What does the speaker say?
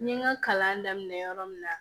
N ye n ka kalan daminɛ yɔrɔ min na